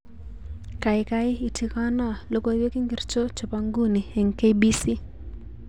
Kaikai itigonoo, logoiwek ingircho chebo nguni eng kbc